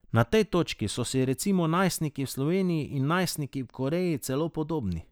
Na tej točki so si recimo najstniki v Sloveniji in najstniki v Koreji celo podobni.